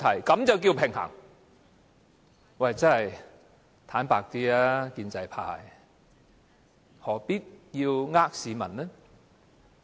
坦白一點吧，建制派，何必欺騙市民呢？